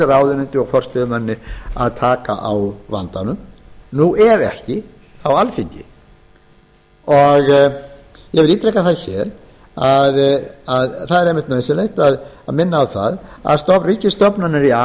ráðuneyti og forstöðumanni að taka á vandanum ef ekki þá alþingi ég vil ítreka það hér að það er einmitt nauðsynlegt að minna á að ríkisstofnanir í a